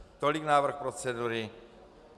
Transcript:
Tolik návrh procedury.